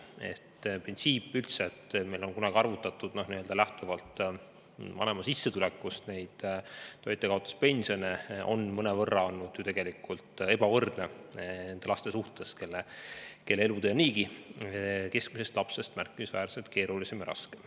Üldse see printsiip, et meil on kunagi arvutatud toitjakaotuspensione vanema sissetulekust lähtuvalt, on olnud ju tegelikult mõnevõrra ebavõrdne nende laste suhtes, kelle elutee on niigi keskmise lapse omast märkimisväärselt keerulisem ja raskem.